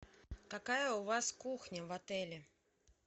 какая у вас кухня в отеле